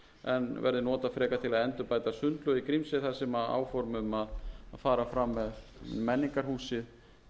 en verði notað frekar til að endurbæta sundlaug í grímsey þar sem áform um að fara fram með menningarhúsið hefur